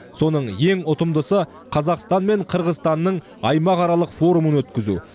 соның ең ұтымдысы қазақстан мен қырғызстанның аймақаралық форумын өткізу